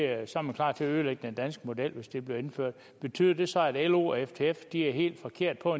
at så er man klar til at ødelægge den danske model hvis det bliver indført betyder det så at lo og ftf er helt forkert på